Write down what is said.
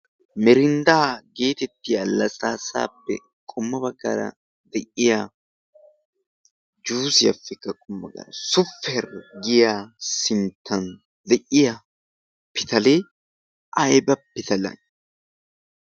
merinddaa geetettiya lasaassaappe qomma baggara de7iya jusiyaappekka qommo bagara super giya sinttan de7iya pitalee aiba pitale?